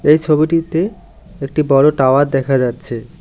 এই ছবিটিতে একটি বড়ো টাওয়ার দেখা যাচ্ছে।